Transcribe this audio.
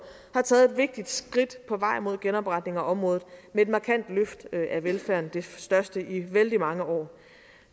har taget et vigtigt skridt på vejen mod genopretning af området med et markant løft af velfærden det største i vældig mange år